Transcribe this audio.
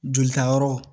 Jolita yɔrɔ